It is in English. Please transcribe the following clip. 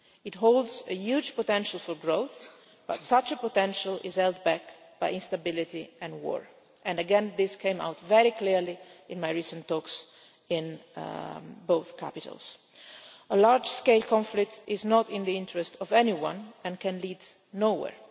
It holds a huge potential for growth, but such a potential is held back by instability and war, and again this came out very clearly in my recent talks in both capitals. A large scale conflict is not in the interests of anyone and can lead nowhere.